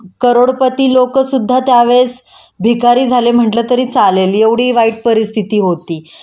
करोडपती लोक सुद्धा त्यावेळेस भिकारी झाले म्हटलं तरी चालेल एवढी वाईट परिस्थिती होती